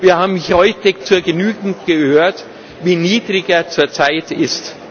Wir haben heute zur Genüge gehört, wie niedrig er zurzeit ist.